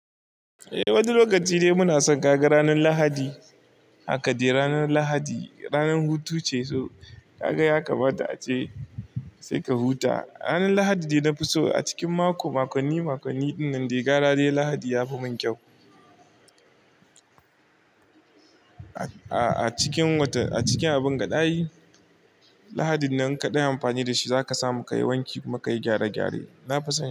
Eh, wani lokaci dai muna son kaga ranar Lahadi. Haka dai ranar Lahadi ranar hutu ce, so ka ga ya kamata ace sai ka huta. Ranar Lahadi dai na fi so a cikin mako. Makonni makonni dinnan da gyara dai Lahadi ya fi mun kyau. A cikin abun gadayi, Lahadin nan kadai amfani da shi zaka samu ka yi wanki kuma ka yi gyare gyare. Na fi san.